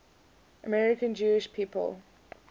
american jewish people